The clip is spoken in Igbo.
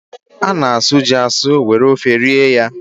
A na-asụ ji asụ were ofe rie ya.